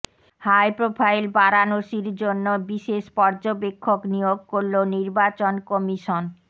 high profile বারাণসীর জন্য বিশেষ পর্যবেক্ষক নিয়োগ করল নির্বাচন কমিশন